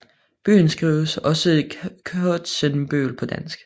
Byen skrives også Kotsenbøl på dansk